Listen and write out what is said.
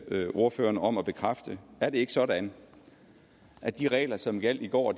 bede ordføreren om at bekræfte er det ikke sådan at de regler som gjaldt i går